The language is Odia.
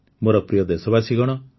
ମୋର ପ୍ରିୟ ଦେଶବାସୀଗଣ